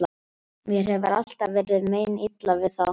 Mér hefur alltaf verið meinilla við þá.